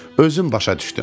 Özün başa düşdüm.